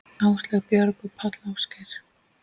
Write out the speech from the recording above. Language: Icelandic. Áslaug, Björg og Páll Ásgeir.